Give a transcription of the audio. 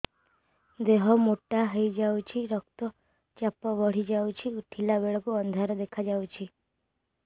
ଦେହ ମୋଟା ହେଇଯାଉଛି ରକ୍ତ ଚାପ ବଢ଼ି ଯାଉଛି ଉଠିଲା ବେଳକୁ ଅନ୍ଧାର ଦେଖା ଯାଉଛି